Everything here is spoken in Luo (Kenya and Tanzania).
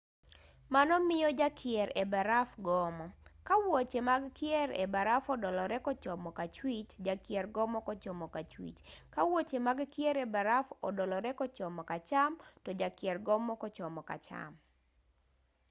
mano miyo jakier e baraf gomo ka wuoche mag kier e baraf odolore kochomo kachwich jakier gomo kochomo kachwich ka wuoche mag kier e baraf odolore kochomo kacham to jakier gomo kochomo kacham